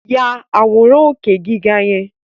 Ya àwòrán òkè gíga yẹn!